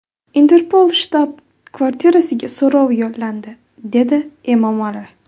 Interpol shtab-kvartirasiga so‘rov yo‘llandi”, dedi Emomali.